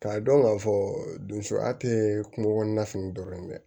K'a dɔn k'a fɔ donya tɛ kungo kɔnɔna dɔrɔn ye dɛ